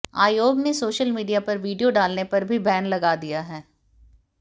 आयोग ने social media पर वीडियो डालने पर भी बैन लगा दिया है